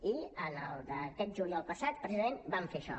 i aquest juliol passat precisament vam fer això